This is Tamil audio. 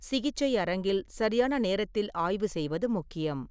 சிகிச்சை அரங்கில் சரியான நேரத்தில் ஆய்வு செய்வது முக்கியம்.